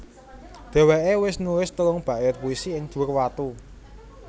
Dheweké wis nulis telung bait puisi ing dhuwur watu